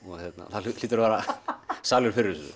það hlýtur að vera salur fyrir